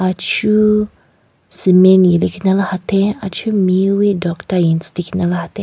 Achu cement nelekhinala hatheng achu mewi tokta lekhinala hatheng.